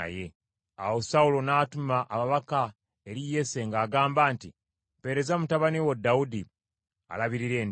Awo Sawulo n’atuma ababaka eri Yese, ng’agamba nti, “Mpeereza mutabani wo Dawudi, alabirira endiga.”